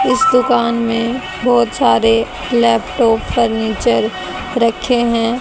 इस दुकान में बहोत सारे लैपटॉप फर्नीचर रखे है।